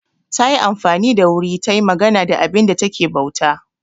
Ta yi amfani da wuri ta yi magana da abinda ta ke bauta.